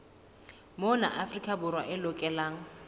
mona afrika borwa e lokelwa